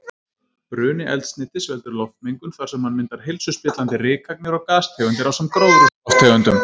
Bruni eldsneytis veldur loftmengun þar sem hann myndar heilsuspillandi rykagnir og gastegundir ásamt gróðurhúsalofttegundum.